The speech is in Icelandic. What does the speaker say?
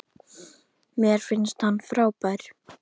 Mér finnst hann frábær.